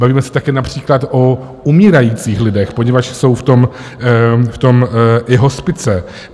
Bavíme se také například o umírajících lidech, poněvadž jsou v tom i hospice.